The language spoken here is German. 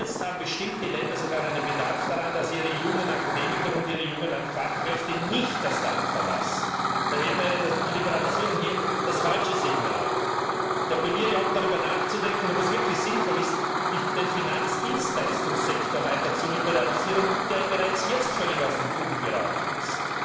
Jetzt haben bestimmte Länder sogar einen Bedarf daran, dass ihre jungen Akademiker und ihre jungen Fachkräfte nicht das Land verlassen. Daher wäre die Liberalisierung hier das falsche Signal. Ich appelliere auch, darüber nachzudenken, ob es wirklich sinnvoll ist, den Finanzdienstleistungssektor weiter zu liberalisieren, der ja bereits jetzt völlig aus den Fugen geraten ist.